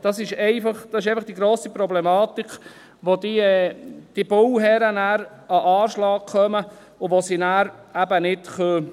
Das ist einfach die grosse Problematik, wo die Bauherren an den Anschlag kommen, und sie nachher eben nicht bauen können.